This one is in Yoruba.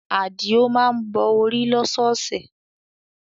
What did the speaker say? Adio má ń bọ orí lọ́sọ̀ọ̀sẹ̀